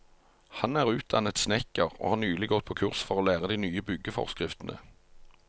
Han er utdannet snekker og har nylig gått på kurs for å lære de nye byggeforskriftene.